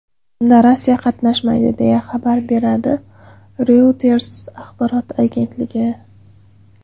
Unda Rossiya qatnashmaydi, deya xabar beradi Reuters axborot agentligi.